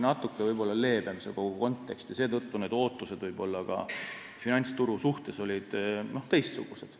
Natuke leebem oli kogu see kontekst ja seetõttu olid ka need ootused finantsturu suhtes teistsugused.